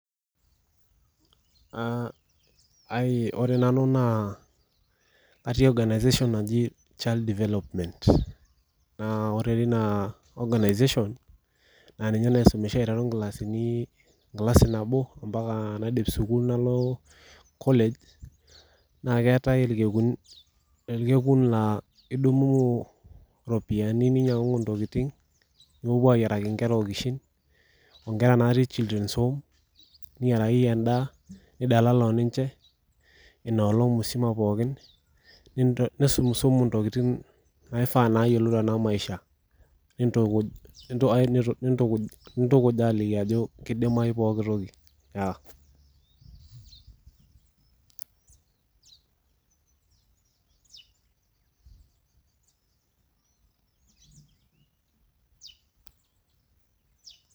Ore nanu naa atii organisation naji Child Development. Naa ore tina organisation, na ninye naisumisha aiteru nkilasini enkilasi nabo mpaka naidip sukuul nalo college, na keetae irkekuni orkekun laa idum iropiyiani ninyang'ung'u ntokiting, nipuopuo ayiaraki nkera okishin, onkera natii Children's Home, niyiarakiki endaa, nidalala oninche, inolong musima pookin. Nisumusumu ntokiting naifaa neyiolou tenamaisha. Nintukuj aliki ajo kidimayu pooki toki.